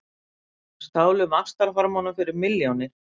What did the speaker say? Stálu vaxtarhormónum fyrir milljónir